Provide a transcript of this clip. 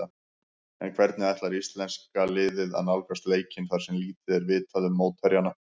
En hvernig ætlar íslenska liðið að nálgast leikinn þar sem lítið er vitað um mótherjana?